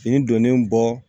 Nin donnen bɔ